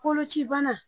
Koloci bana